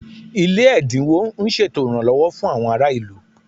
Ilé ẹ̀dínwó ń ṣètò ìrànlọ́wọ́ fún àwọn ará ìlú